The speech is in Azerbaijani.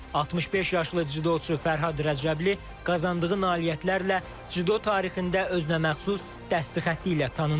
65 yaşlı cüdoçu Fərhad Rəcəbli qazandığı nailiyyətlərlə cüdo tarixində özünəməxsus dəsti-xətti ilə tanınır.